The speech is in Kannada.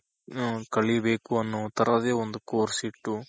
ಕಲಿಬೇಕು ಅನ್ನೋ ತರದೇ ಒಂದು course ಇಟ್ಟು